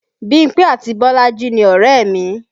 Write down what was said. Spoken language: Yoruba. Bímpé àti Bolaji ni ọ̀rẹ́ mi